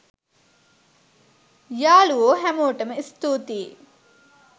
යාලුවෝ හැමෝටම ස්තුතියි